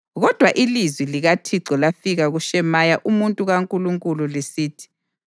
Kodwa ilizwi likaThixo lafika kuShemaya umuntu kaNkulunkulu lisithi: